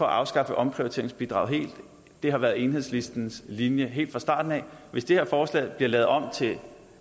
afskaffe omprioriteringsbidraget helt det har været enhedslistens linje helt fra starten af hvis det her forslag bliver lavet om til